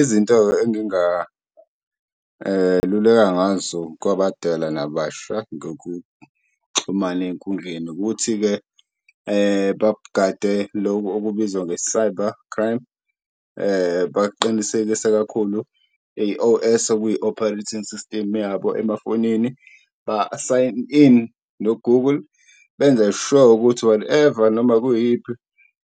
Izinto-ke enginga luleka ngazo kwabadala nababasha ngokuxhumana eyinkundleni ukuthi-ke babugade loku okubizwa nge-cyber crime , baqinisekise kakhulu i-O_S okuyi-Operating System yabo emafonini. Ba-sign in no-Google benze sure ukuthi whatever noma kuyiphi